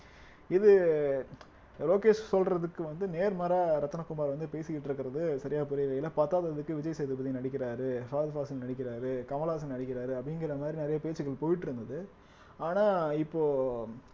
இது லோகேஷ் சொல்றதுக்கு வந்து நேர்மாறா ரத்தினகுமார் வந்து பேசிக்கிட்டு இருக்கிறது சரியா பத்தாததுக்கு விஜய் சேதுபதி நடிக்கிறாரு ஃபகத் ஃபாசில் நடிக்கிறாரு கமலஹாசன் நடிக்கிறாரு அப்படிங்கிற மாதிரி நிறைய பேச்சுக்கள் போயிட்டு இருந்தது ஆனா இப்போ